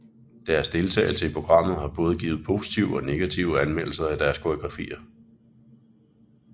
Deres deltagelse i programmet har givet både positive og negative anmeldelser af deres koreografier